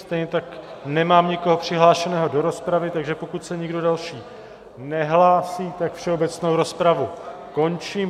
Stejně tak nemám nikoho přihlášeného do rozpravy, takže pokud se nikdo další nehlásí, tak všeobecnou rozpravu končím.